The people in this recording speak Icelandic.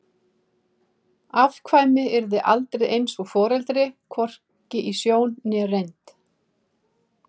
Afkvæmi yrði aldrei alveg eins og foreldri, hvorki í sjón né reynd.